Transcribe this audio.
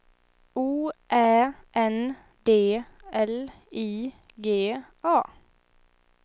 O Ä N D L I G A